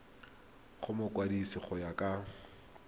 go mokwadise go ya ka